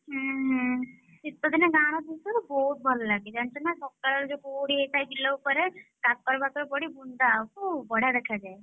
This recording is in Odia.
ହୁଁହୁଁ ଶୀତ ଦିନେ ଗାଁର ଦୃଶ୍ୟ ନା ବହୁତ୍ ଭଲ ଲାଗେ ଜାଣିଛୁ ନା ସକାଳରେ ଯୋଉ କୁହୁଡି ହେଇଥାଏ ବିଲ ଉପରେ କାକର ଫାକର ପଡି ବୁନ୍ଦା ବଢିଆ ଦେଖାଯାଏ।